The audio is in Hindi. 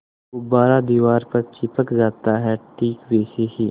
गुब्बारा दीवार पर चिपक जाता है ठीक वैसे ही